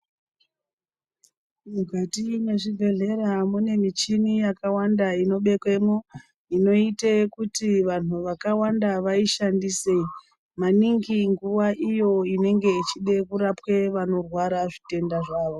Mukati mezvibhedhlera kunemichini yakawanda inobekwemo, inoite kuti vanhu vakawanda vayishandisewo. Maningi nguwa iyo inenge ichide kurapwe vanorwara zvitenda zvawo.